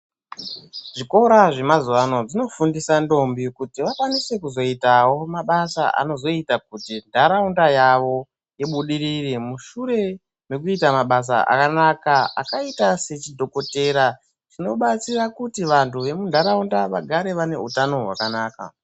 Zvikora zvemazuva ano zvinofundisa ndombi kuti vakwanise kuzoitavo mabasa anozoita kuti nharaunda yawo ibudirire. Mushure mekuita mabasa akanaka akaita sechidhokotera anobatsira kuti vantu vemunharaunda vagare vaine hutano hwakanaka.